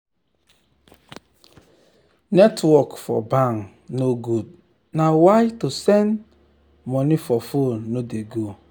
netwrok for bank no good na why to send money for fone no de go